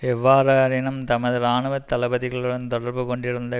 எவ்வாறெனினும் தமது இராணுவ தளபதிகளுடன் தொடர்பு கொண்டிருந்த